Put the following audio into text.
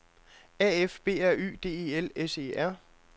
A F B R Y D E L S E R